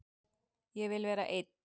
Ég vil vera einn.